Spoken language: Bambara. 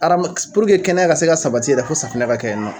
Adama puruke kɛnɛya ka se ka sabati yɛrɛ fo safinɛ ka kɛ yen nɔ